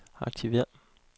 aktiver